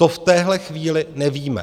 To v téhle chvíli nevíme.